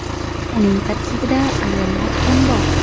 Uning tarkibida ayollar ham bor.